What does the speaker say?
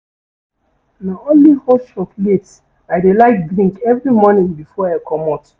Na only hot chocolate I dey like drink every morning before I comot.